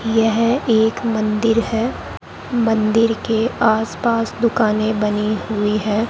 यह एक मंदिर है मंदिर के आस पास दुकाने बनी हुई है।